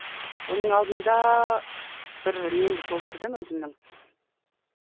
оның алдында бір немді толтырдым өзімнің